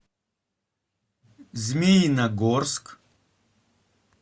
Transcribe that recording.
змеиногорск